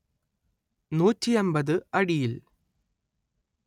നൂറ്റി അന്‍പത്ത് അടിയിൽ